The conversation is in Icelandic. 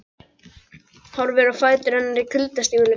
Horfir á fætur hennar í kuldastígvélum.